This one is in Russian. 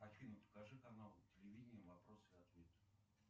афина покажи канал телевидения вопросы и ответы